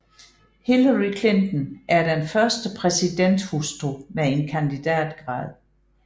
Hillary Clinton er den første præsidenthustru med en kandidatgrad